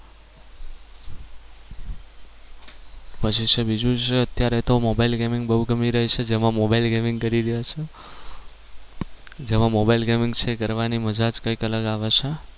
પછી જે બીજું છે અત્યારે તો mobile gaming બહુ ગમી રહી છે જેમાં mobile gaming કરી રહ્યા છીએ જેમાં mobile gaming છે એ કરવાની મજા જ કઈક અલગ આવે છે.